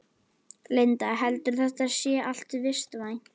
Linda: Heldurðu að þetta sé allt vistvænt?